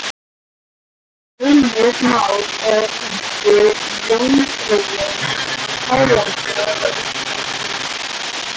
Heimir Már: Eða kannski Jómfrúin á Tælandi eða eitthvað slíkt?